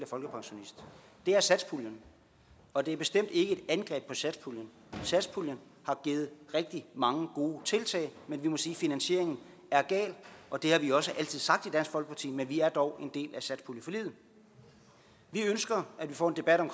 folkepensionist det er satspuljen og det er bestemt ikke angreb på satspuljen satspuljen har givet rigtig mange gode tiltag men vi må sige at finansieringen er gal og det har vi også altid sagt i dansk folkeparti men vi er dog en del af satspuljeforliget vi ønsker at vi får en debat om